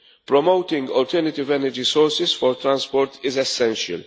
Promoting alternative energy sources for transport is essential.